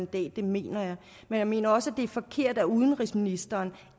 det mener jeg men jeg mener også at det er forkert at udenrigsministeren